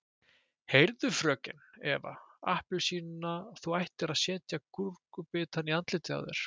Heyrðu FRÖKEN Eva appelsína þú ættir að setja gúrkubita í andlitið á þér.